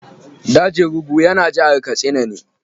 Dajin Rugu yana jihar Katsina ne.